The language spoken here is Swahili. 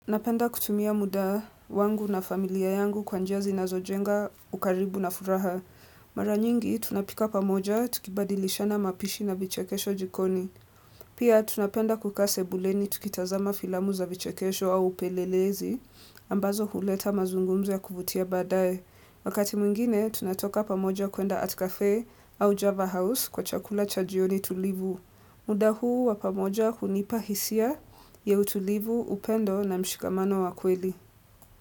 Napenda kutumia muda wangu na familia yangu kwa njia zinazojenga ukaribu na furaha Mara nyingi tunapika pamoja tukibadilishana mapishi na vichekesho jikoni Pia tunapenda kukaa sebuleni tukitazama filamu za vichekesho au upelelezi ambazo huleta mazungumzo ya kuvutia baadae Wakati mwingine tunatoka pamoja kuenda Artcaffe au Java House kwa chakula cha jioni tulivu muda huu wa pamoja hunipa hisia ya utulivu upendo na mshikamano wa kweli.